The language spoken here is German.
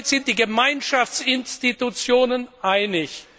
Damit sind sich die Gemeinschaftsinstitutionen einig.